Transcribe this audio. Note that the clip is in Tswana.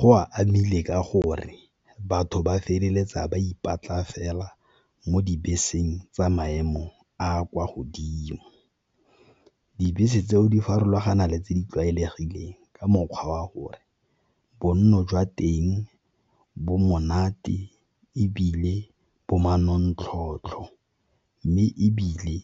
Go a amile ka gore batho ba feleletsa ba ipatlang fela mo dibeseng tsa maemo a kwa godimo, dibese tseo di farologana le tse di tlwaelegileng ka mokgwa wa gore bonno jwa teng bo monate ebile bo manontlhotlho, mme ebile